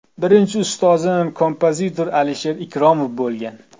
Birinchi ustozim kompozitor Alisher Ikromov bo‘lgan.